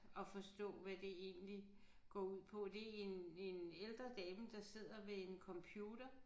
At forstå hvad det egentlig går ud på. Det en en ældre dame der sidder ved en computer